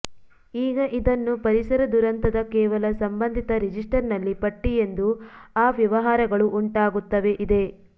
ಈಗ ಇದನ್ನು ಪರಿಸರ ದುರಂತದ ಕೇವಲ ಸಂಬಂಧಿತ ರಿಜಿಸ್ಟರ್ ನಲ್ಲಿ ಪಟ್ಟಿ ಎಂದು ಆ ವ್ಯವಹಾರಗಳು ಉಂಟಾಗುತ್ತವೆ ಇದೆ